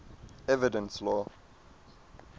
evidence law